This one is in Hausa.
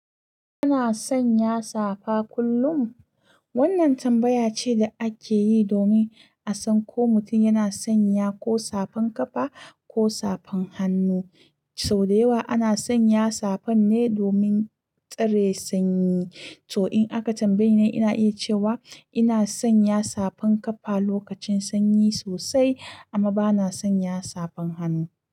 "Ina sanya safa kullum?" wannan tambaya ce da ake yi domin a san ko mutum yana sanya ko safan kafa ko safan hannu. Sau da yawa ana sanya safan ne domin tsare sanyi. To, in aka tambaye ni, ina iya cewa ina sanya safan kafa lokacin sanyi sosai, amma ba na sanya safan hannu.